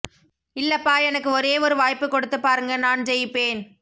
இல்லப்பா எனக்கு ஒரே ஒரு வாய்ப்பு கொடுத்து பாருங்க நான் ஜெயிபேன்